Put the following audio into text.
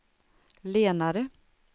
lenare